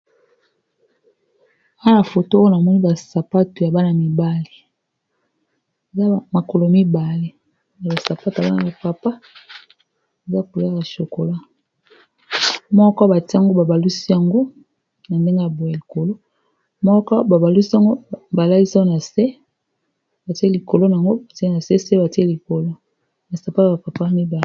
Awa foto ona moi basapato ya bana mibale azamakolo ibale ya basapato a bana bapapa baza kolalashokola moko batiango babalusi yango na ndenge ya bo ya likolo moko babalusi yangobalais na se batie likolo yango batia na ssetlikoloaspatoya bapapa mibale